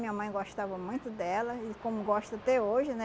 Minha mãe gostava muito dela, e como gosta até hoje, né?